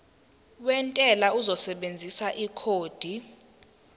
wentela uzosebenzisa ikhodi